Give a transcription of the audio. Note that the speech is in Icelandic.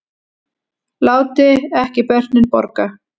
Láti ekki börnin borga